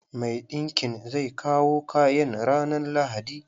Mai ɗinkin zai kawo kayan ranan lahadi.